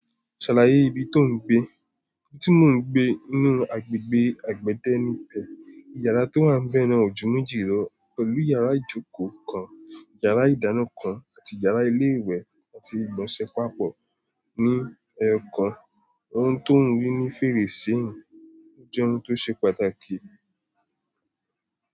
Ṣàlàyé ibi to ń gbé. Ibi tí mò ń gbé ní inú agbègbè àgbẹ̀dẹ ni tiẹ̀. Ìyàrá tó wà n bẹ́ẹ̀ náà ò jù méjì lọ, pẹ̀lú yàrá ìjókòó kan, yàrá ìdáná kan, àti yàrá ilé ìwẹ̀ àti ìgbọ̀nsẹ̀ pàápọ̀. Ní èèkàn, ohun tó wúmi ní fèrèsé ń jẹ́ ohun tó ṣe pàtàkì.